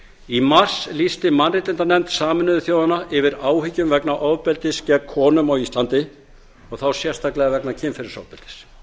í mars lýsti mannréttindanefnd sameinuðu þjóðanna yfir áhyggjum vegna ofbeldis gegn konum á íslandi og þá sérstaklega vegna kynferðisofbeldis